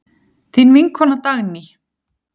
Þín vinkona Dagný.